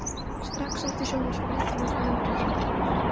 Strax eftir sjónvarpsfréttirnar hafði verið hringt.